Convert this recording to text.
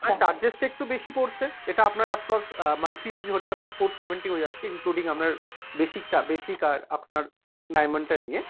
আপনার charges টা একটু বেশি পড়ছে, এটা আপনার approx মানে monthly যদি ধরি আপনার four seventy হয়ে যাচ্ছে including আপনার basic টা basic আর আপনার diamond টা নিয়ে।